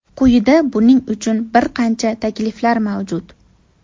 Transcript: Quyida buning uchun bir qancha takliflar mavjud.